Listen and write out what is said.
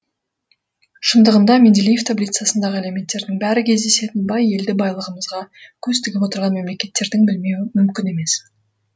шындығында менделеев таблицасындағы элементтердің бәрі кездесетін бай елді байлығымызға көз тігіп отырған мемлекеттердің білмеуі мүмкін емес